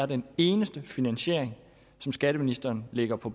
den eneste finansiering som skatteministeren lægger på